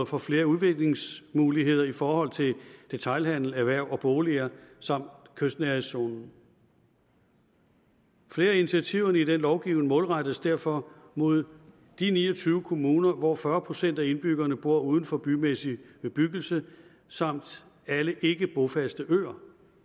får flere udviklingsmuligheder i forhold til detailhandel erhverv og boliger samt kystnærhedszonen flere af initiativerne i denne lovgivning målrettes derfor mod de ni og tyve kommuner hvor fyrre procent af indbyggerne bor uden for bymæssig bebyggelse samt alle ikkebrofaste øer